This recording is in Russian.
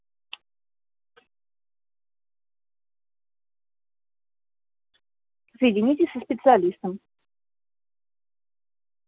соедините со специалистом